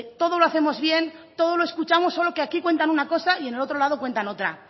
todo lo hacemos bien todo lo escuchamos solo que aquí cuentan una cosa y en el otro lado cuentan otra